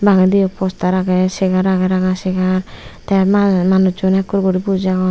bangediyo postar agey segar agey ranga ranga segar te mah manucchun ekkur guri buji agon.